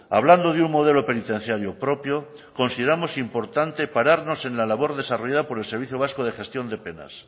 hablando de un modelo penitenciario propio consideramos importante pararnos en la labor desarrollada por el servicio vasco de gestión de penas